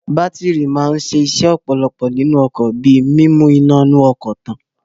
Bátírì máa ń ṣe ọ̀pọ̀lọpọ̀ iṣẹ́ nínú ọkọ̀ bí i mímu iná inú ọkọ̀ tàn.